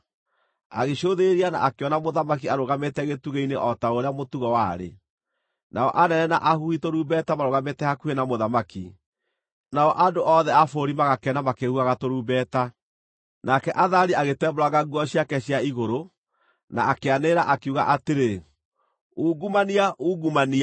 Agĩcũthĩrĩria na akĩona mũthamaki arũgamĩte gĩtugĩ-inĩ o ta ũrĩa mũtugo warĩ. Nao anene na ahuhi tũrumbeta maarũgamĩte hakuhĩ na mũthamaki, nao andũ othe a bũrũri magakena makĩhuhaga tũrumbeta. Nake Athalia agĩtembũranga nguo ciake cia igũrũ, na akĩanĩrĩra, akiuga atĩrĩ, “Ungumania! Ungumania!”